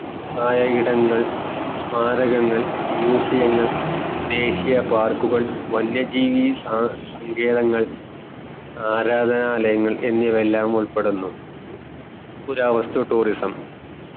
ആയ ഇടങ്ങൾ സ്മാരകങ്ങൾ museum ങ്ങൾ ദേഷ്യ park കൾ വന്യ ജീവി സങ്കേതങ്ങൾ ആരാധനായങ്ങൾ എന്നിവയെല്ലാം ഉൾപ്പെടുന്നു പുരാവസ്തു tourism